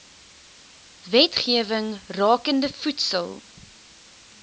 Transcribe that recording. wetgewing rakende voedsel